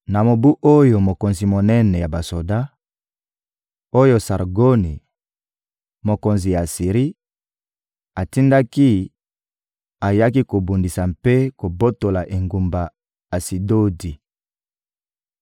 Na mobu oyo mokonzi monene ya basoda, oyo Sargoni, mokonzi ya Asiri, atindaki, ayaki kobundisa mpe kobotola engumba Asidodi;